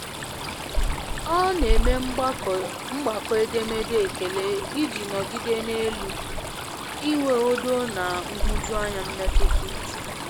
Ọ n'eme mgbakọ edemede ekele i ji nọgide n'elu i nwe udo na nhụjuanya mmetụta uche.